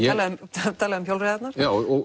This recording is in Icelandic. talað um hjólreiðarnar já